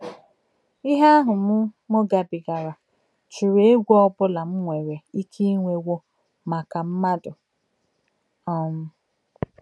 Ihe ahụ m m gabigara chụrụ egwu ọbụla m nwere ike inwewo maka mmadụ! um